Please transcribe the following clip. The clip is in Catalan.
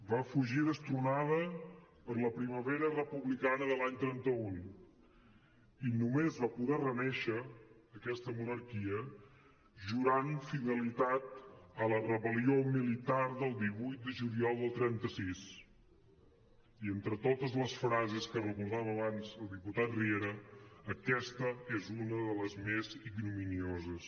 va fugir destronada per la primavera republicana de l’any trenta un i només va poder renéixer aquesta monarquia jurant fidelitat a la rebel·lió militar del divuit de juliol del trenta sis i entre totes les frases que recordava abans el diputat riera aquesta és una de les més ignominioses